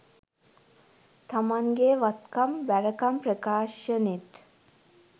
තමන්ගෙ වත්කම් බැරකම් ප්‍රකාශනෙත්